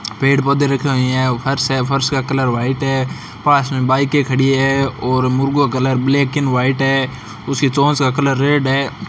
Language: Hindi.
पेड़ पौधे रखा है यहां फर्श है फर्श का कलर व्हाइट है पास में बाइक खड़ी है मुर्गों का ब्लैक एंड व्हाइट है उसकी चोंच का कलर रेड है।